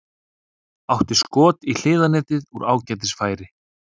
Átti skot í hliðarnetið úr ágætis færi.